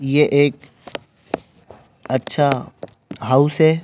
ये एक अच्छा हाउस है।